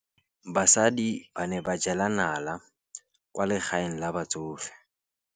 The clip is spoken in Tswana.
Basadi ba ne ba jela nala kwaa legaeng la batsofe.